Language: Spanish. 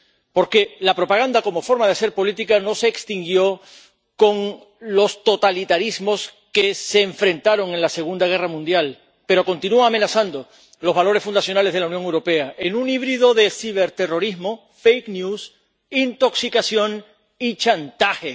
Porque la propaganda como forma de hacer política no se extinguió con los totalitarismos que se enfrentaron en la Segunda Guerra Mundial, sino que continúa amenazando los valores fundacionales de la Unión Europea, en un híbrido de ciberterrorismo, fake news intoxicación y chantaje.